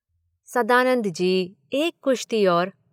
सदानंद जी, एक कुश्ती और।